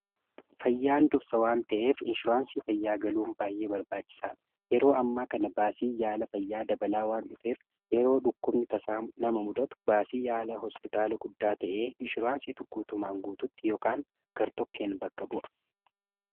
Fayyaan dursa waan ta'eef inshuraansii fayyaa galuun baay'ee barbaachisaadha. Yeroo ammaa kana baasii yaala fayyaa dabalaa waan dhufeef yeroo dhukkubni tasaa nama muudatu baasii yaala hospitaala guddaa ta'ee inshuraansii tokkeen bakka bu'a.